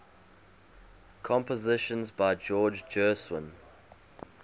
compositions by george gershwin